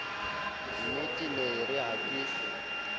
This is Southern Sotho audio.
nnetee nee yeere ha ke